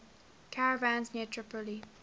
caravans near tripoli